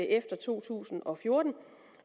efter to tusind og fjorten